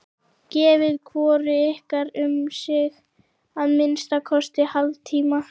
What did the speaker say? Gefið hvoru ykkar um sig að minnsta kosti hálftíma.